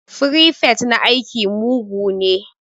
Firifet na aiki mugu ne